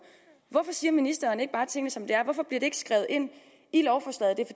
hvorfor siger ministeren ikke bare tingene som de er hvorfor bliver det ikke skrevet ind i lovforslaget er